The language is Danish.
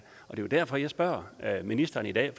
jo derfor jeg spørger ministeren i dag